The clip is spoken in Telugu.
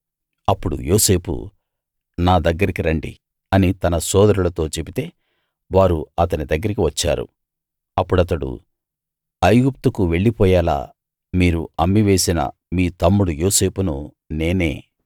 అప్పుడు యోసేపు నా దగ్గరికి రండి అని తన సోదరులతో చెబితే వారు అతని దగ్గరికి వచ్చారు అప్పుడతడు ఐగుప్తుకు వెళ్లిపోయేలా మీరు అమ్మేసిన మీ తమ్ముడు యోసేపును నేనే